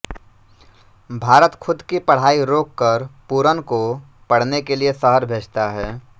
भारत ख़ुद की पढ़ाई रोक कर पूरन को पढ़ने के लिए शहर भेजता है